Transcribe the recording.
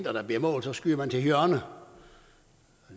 at der bliver mål skyder man til hjørne